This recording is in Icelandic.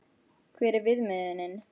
Hver er viðmiðunin?